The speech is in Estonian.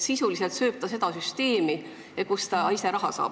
Sisuliselt ta ju sööb seda süsteemi, kust ise raha saab.